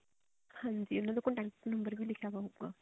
ਹਾਂਜੀ ਇਹਨਾ ਦਾ contact number ਵੀ ਲਿਖਿਆ ਹੋਇਆ ਮਤਲਬ